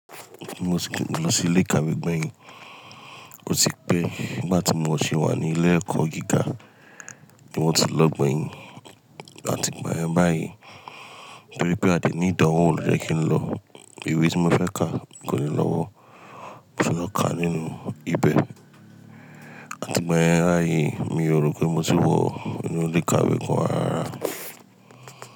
Mo tí kìí lọ sí ilé ìkàwé gbẹ̀yìn, ó sì pé bí màá tí mo ṣe wà ní ilé ẹ̀kọ́ gíga, mo tí lọ gbẹ̀yìn. Àti ìgbà yẹn báyìí, bí ó pé a ti ní ìdánwò ọ̀rọ̀ jẹ́ kí n lọ, ìwé tí mo fẹ́ ka kò ní lọ́wọ́, mo sì lọ ká nínú ibẹ̀. Àti ìgbà yẹn báyìí mi ò rò pé mo ti wọ inú ilé ìkàwé kan lára.